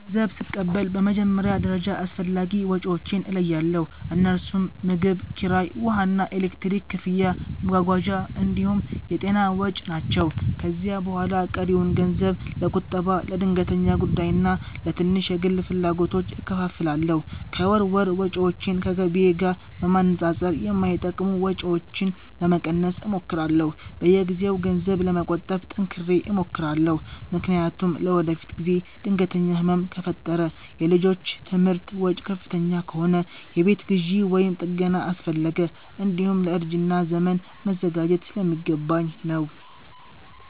ገንዘብ ስቀበል በመጀመሪያ ደረጃ አስፈላጊ ወጪዎቼን እለያለሁ፤ እነርሱም ምግብ፣ ኪራይ፣ ውሃና ኤሌክትሪክ ክፍያ፣ መጓጓዣ እንዲሁም የጤና ወጪ ናቸው። ከዚያ በኋላ ቀሪውን ገንዘብ ለቁጠባ፣ ለድንገተኛ ጉዳይና ለትንሽ የግል ፍላጎቶች እከፋፍላለሁ። ከወር ወር ወጪዎቼን ከገቢዬ ጋር በማነጻጸር የማይጠቅሙ ወጪዎችን ለመቀነስ እሞክራለሁ። በየጊዜው ገንዘብ ለመቆጠብ ጠንክሬ እሞክራለሁ፤ ምክንያቱም ለወደፊት ጊዜ ድንገተኛ ህመም ከፈጠረ፣ የልጆች ትምህርት ወጪ ከፍተኛ ከሆነ፣ የቤት ግዢ ወይም ጥገና አስፈለገ፣ እንዲሁም ለእርጅና ዘመን መዘጋጀት ስለሚገባኝ ነው።